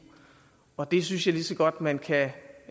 og det synes jeg lige så godt at man kan